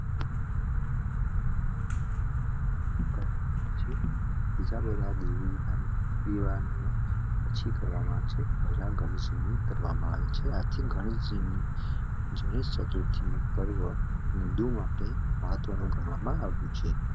પીવાનું પછી કરવામાં આવશે આથી ઘણી હિન્દુ માટે મહત્વનું ગણવામાં આવ્યું છે